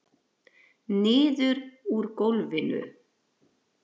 Niður úr gólfinu.